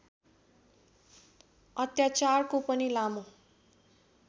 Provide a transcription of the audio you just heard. अत्याचारको पनि लामो